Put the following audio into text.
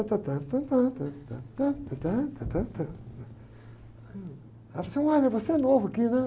Ela falou assim, olha você é novo aqui, né?